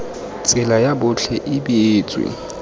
tsela ya botlhe e beetswe